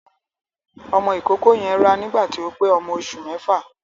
Ọmọ ìkókó yen rá nígbà tó pé ọmọ oṣù mẹ́fà.